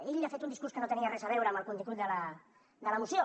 ell ha fet un discurs que no tenia res a veure amb el contingut de la moció